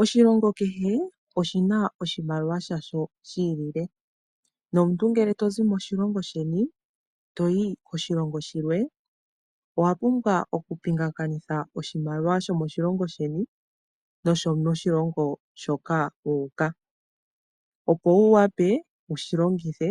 Oshilongo kehe oshina oshimaliwa shasho shi ilile nomuntu ngele to zi moshilongo sheni toyi koshilongo shimwe owa pumbwa okupingakanitha oshimaliwa shomo shilongo sheni nokoshilongo hoka wuuka opo wu wape wushi longithe